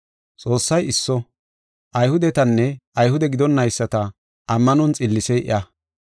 Xoossay isso; Ayhudetanne Ayhude gidonnayisata ammanon xillisey iya.